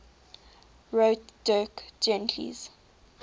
wrote dirk gently's